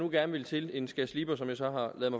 gerne vil til en skærsliber som jeg så har ladet